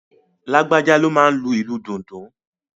Lágbájá ló máa n lo ìlù dundun